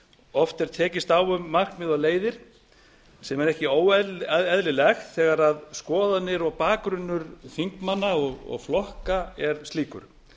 oft er tekist á um markmið og leiðir sem er ekki óeðlilegt þegar skoðanir og bakgrunnur þingmanna og flokka er slíkur